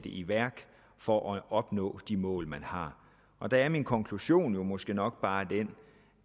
i værk for at opnå de mål man har der er min konklusion jo måske nok bare den